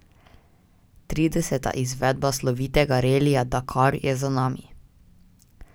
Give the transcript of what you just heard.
Trideseta izvedba slovitega relija Dakar je za nami.